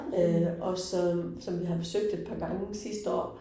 Øh og som som vi har besøgt et par gange sidste år